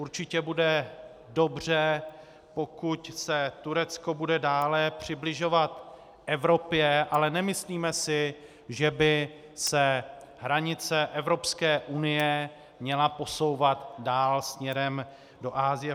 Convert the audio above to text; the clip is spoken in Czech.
Určitě bude dobře, pokud se Turecko bude dále přibližovat Evropě, ale nemyslíme si, že by se hranice Evropské unie měla posouvat dál směrem do Asie.